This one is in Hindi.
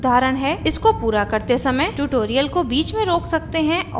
इसको पूरा करते समय ट्यूटोरियल को बीच में रोक सकते हैं और कोड टाइप करें